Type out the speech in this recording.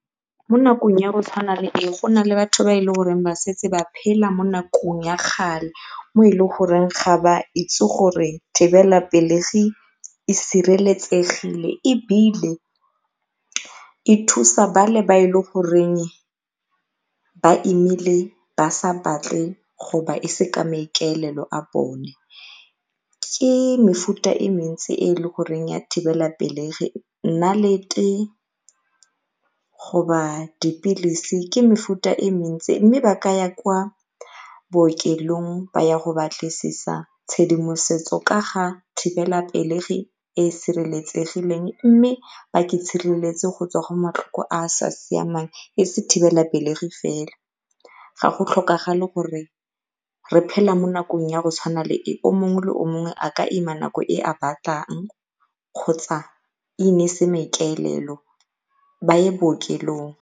Mo nakong ya go tshwana e go na le batho ba e le goreng ba setse ba phela mo nakong ya kgale mo e le goreng ga ba itse gore thibelapelegi e sireletsegile ebile e thusa ba le ba e le goreng ba imile ba sa batle go e se ka maikaelelo a bone. Ke mefuta e mentsi e e le goreng ya thibelapelegi nnalete, go dipilisi ke mefuta e mentsi mme ba ka ya kwa bookelong ba ya go batlisisa tshedimosetso ka ga thibelapelegi e e sireletsegileng mme ba go tswa go matlhoko a a sa siamang e se thibelapelegi fela. Ga go tlhokagale gore re phele mo nakong ya go tshwana le e, o mongwe le o mongwe a ka ima nako e a batlang kgotsa e ne e se maikaelelo ba ye bookelong.